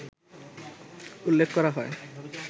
উল্লেখ করা হয়